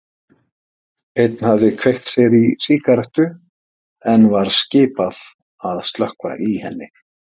Einn hafði kveikt sér í sígarettu en var skipað að slökkva í henni.